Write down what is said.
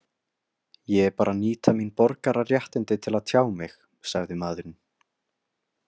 Ég er bara að nýta mín borgararéttindi til að tjá mig, sagði maðurinn.